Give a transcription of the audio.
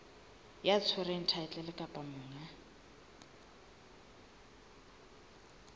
ya tshwereng thaetlele kapa monga